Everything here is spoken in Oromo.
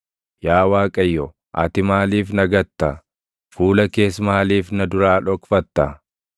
Yaa Waaqayyo, ati maaliif na gatta? Fuula kees maaliif na duraa dhokfatta?